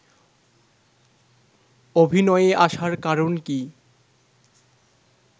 অভিনয়ে আসার কারণ কী